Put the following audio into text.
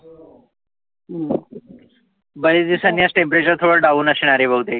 बर्याच दिवसांनी आज temperature थोड Down असणार आहे बहुतेक.